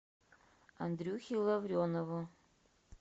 андрюхе лавренову